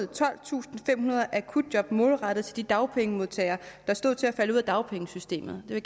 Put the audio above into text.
tolvtusinde og femhundrede akutjob målrettet de dagpengemodtagere der stod til at falde ud af dagpengesystemet det vil